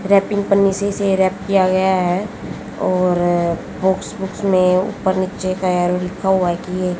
wrapping पन्नी से इसे रैप किया गया है और बॉक्स वूक्स में ऊपर नीचे का ऐरो लिखा हुआ की ये --